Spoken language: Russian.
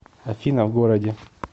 афина в городе